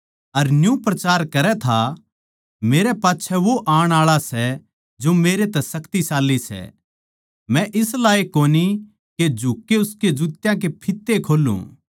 अर न्यू प्रचार करै था मेरे पाच्छै वो आण आळा सै जो मेरै तै शक्तिशाली सै मै इस लायक कोनी के झुककै उसके जुत्या के फित्ते खोल्लूं